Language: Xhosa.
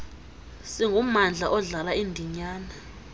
singummandla odlala indinyana